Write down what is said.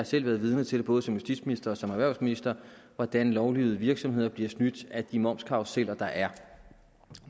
selv været vidne til både som justitsminister og som erhvervsminister hvordan lovlydige virksomheder bliver snydt af de momskarruseller der er